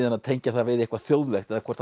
að tengja það við eitthvað þjóðlegt eða hvort